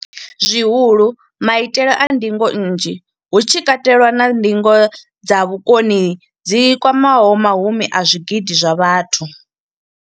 zwihulu maitele a ndingo nnzhi hu tshi katelwa na ndingo dza vhukoni dzi kwamaho mahumi a zwigidi zwa vhathu.